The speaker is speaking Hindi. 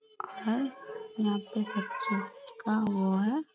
घर यहाँ पे सब चीज का वो है |